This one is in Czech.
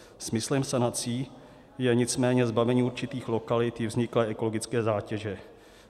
Smyslem sanací je nicméně zbavení určitých lokalit vzniklé ekologické zátěže.